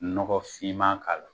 Nɔgɔfinman k'a la.